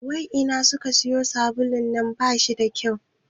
Wai ina kuka sayo sabulun nan ne, bashi da kyau